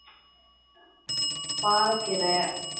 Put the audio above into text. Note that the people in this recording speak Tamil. பாலக்கீரை